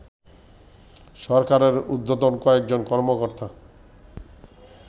সরকারের ঊর্ধ্বতন কয়েকজন কর্মকর্তা